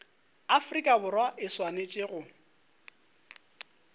afrika borwa e swanetše go